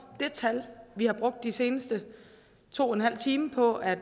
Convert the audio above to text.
det tal vi har brugt de seneste to timer på at